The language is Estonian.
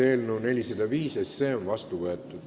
Eelnõu 405 on seadusena vastu võetud.